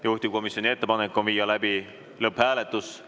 Juhtivkomisjoni ettepanek on viia läbi lõpphääletus.